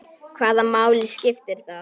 Hvaða máli skiptir það?